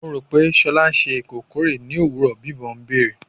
Mo ro pe Shola ṣe ikokore ni owurọ, bimbo beere